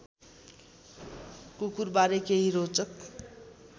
कुकुरबारे केही रोचक